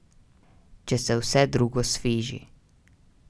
Če se vse drugo sfiži.